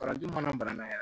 Parajo mana bana yɛrɛ